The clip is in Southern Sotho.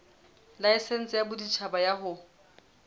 laesense ya boditjhaba ya ho